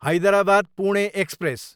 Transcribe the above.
Hyderabad, Pune express